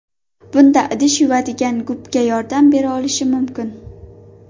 Bunda idish yuvadigan gubka yordam bera olishi mumkin.